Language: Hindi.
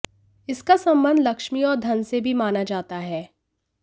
इसका संबंध लक्ष्मी और धन से भी माना जाता है